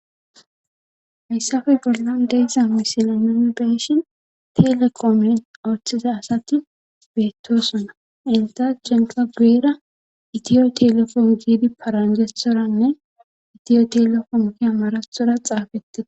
Fayssafe gorlan deyssa misila naomi beeshin telekomen othiza asati beettosuna inta jenqa guera itiyo telefon giidi paranjethoranne itiyo telefomki amarathora xaafetee.